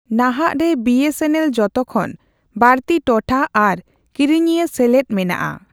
ᱱᱟᱦᱟᱜ ᱨᱮ ᱵᱤᱹᱮᱥᱹᱮᱱᱹᱮᱞ ᱡᱚᱛᱚᱠᱷᱚᱱ ᱵᱟᱲᱛᱤ ᱴᱚᱴᱷᱟ ᱟᱨ ᱠᱤᱨᱤᱧᱤᱭᱟᱹ ᱥᱮᱞᱮᱫ ᱢᱮᱱᱟᱜ ᱟ ᱾